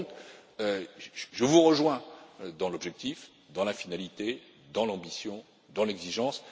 Par conséquent, je vous rejoins dans l'objectif, dans la finalité, dans l'ambition et dans l'exigence.